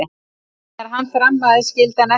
Þegar hann þrammaði skildi hann eftir sig spor.